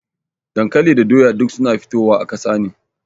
Dankali da Doya suna fito wa a ƙasa ne.